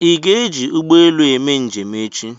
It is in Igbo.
Ị ga-eji ụgbọ elu eme njem echi?